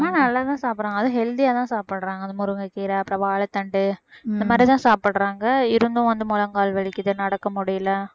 அம்மா நல்லாதான் சாப்பிடுறாங்க அதுவும் healthy ஆதான் சாப்பிடுறாங்க அது முருங்கைக்கீரை அப்புறம் வாழைத்தண்டு இந்த மாதிரிதான் சாப்பிடுறாங்க இருந்தும் வந்து முழங்கால் வலிக்குது நடக்க முடியலை